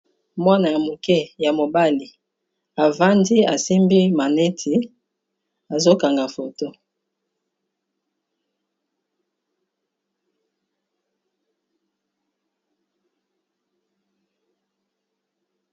Mwana, ya moke ya mobali avandi. Asimbi maneti, azo kanga foto.